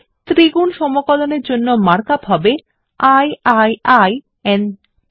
ত্রিগুণ সমকলনের জন্য mark up হবে i i i n t